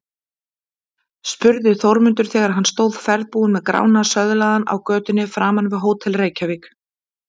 spurði Þórmundur þegar hann stóð ferðbúinn með Grána söðlaðan á götunni framan við Hótel Reykjavík.